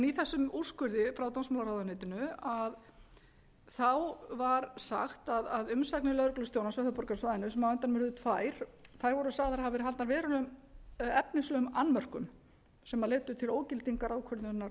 í þessum úrskurði frá dómsmálaráðuneytinu var sagt að umsagnir lögreglustjórans á höfuðborgarsvæðinu sem á endanum urðu tvær þær voru sagðar hafa verið haldnar verulegum efnislegum annmörkum sem leiddu til ógildingar ákvörðunar